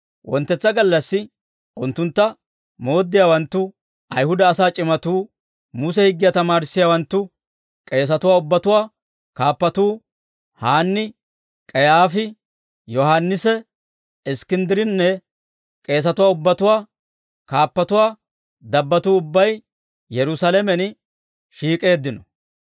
Wonttetsa gallassi, unttuntta mooddiyaawanttu, Ayihuda asaa c'imatuu, Muse higgiyaa tamaarissiyaawanttu, k'eesatuwaa ubbatuwaa kaappatuu Haanni, K'ayaafi, Yohaannisi Iskkinddirinne k'eesatuwaa ubbatuwaa kaappatuwaa dabbattuu ubbay Yerusaalamen shiik'eeddino.